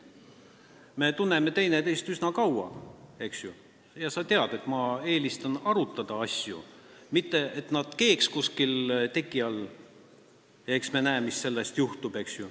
Me tunneme teineteist üsna kaua, eks ju, ja sa tead, et ma eelistan asju arutada, mitte seda, et nad keeksid kuskil teki all ja eks me siis näe, mis juhtub.